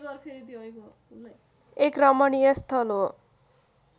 एक रमणीय स्थल हो